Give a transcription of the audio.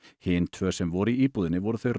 hin tvö sem voru í íbúðinni voru þau